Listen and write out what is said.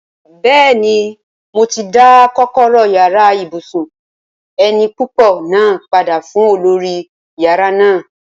Bẹ́ẹ̀ni, mo ti dá kọ́kọ́rọ́ yàrá ibùsùn eni púpọ̀ náà padà fún olórí yàrá náà